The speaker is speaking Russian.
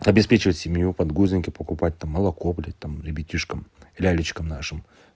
обеспечивать семью подгузники покупать там молоко блядь там ребятишкам лялечкам нашим